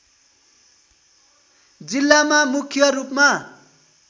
जिल्लामा मुख्य रूपमा